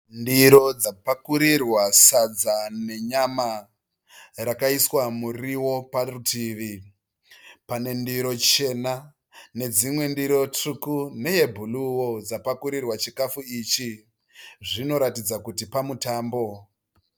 Ndiro dzapakurirwa sadza nenyama. Rakaiswa muriwo parutivi. Pane ndiro chena nedzimwe ndiro tsvuku neebhuruu yapakurirwa chikafu ichi. Zvinoratidza kuti pamutambo.